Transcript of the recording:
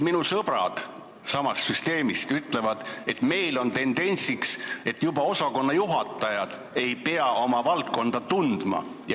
Minu sõbrad samast süsteemist ütlevad, et neil on tendents, et juba osakonnajuhatajad ei pea oma valdkonda tundma.